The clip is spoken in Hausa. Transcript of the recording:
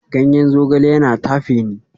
Ganyen zogale yana tafe ni